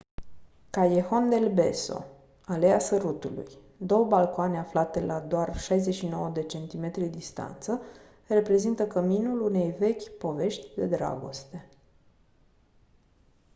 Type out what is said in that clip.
callejon del beso aleea sărutului. două balcoane aflate la doar 69 de centimetri distanță reprezintă căminul unei vechi povești de dragoste